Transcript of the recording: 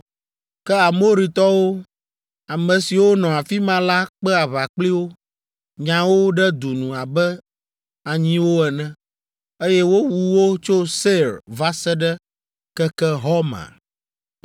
Ke Amoritɔwo, ame siwo nɔ afi ma la kpe aʋa kpli wo, nya wo ɖe du nu abe anyiwo ene, eye wowu wo tso Seir va se ɖe keke Horma.